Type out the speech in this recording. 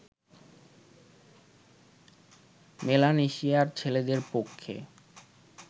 মেলানেশিয়ার ছেলেদের পক্ষে